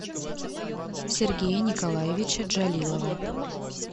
сергея николаевича джалилова